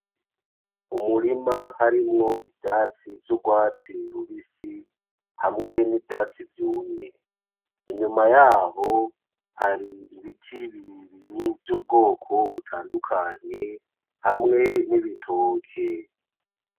Umurima harimwo ivyatsi vy'urwatsi rubisi hamwe nivyatsi vyumye, inyuma yaho hari ibiti birebire vyubwoko butandukanye hamwe n’ibitoke.